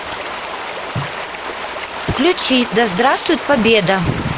включи да здравствует победа